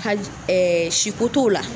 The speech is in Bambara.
Ka siko t'o la